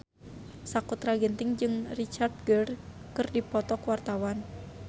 Sakutra Ginting jeung Richard Gere keur dipoto ku wartawan